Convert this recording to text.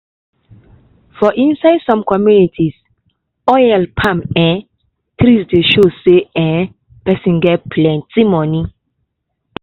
for inside som communities oil palm um tree dey show say um person get plenti money.